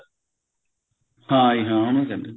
ਹਾਂਜੀ ਹਾਂ ਉਹਨੂੰ ਕਿਹੰਦੇ ਆ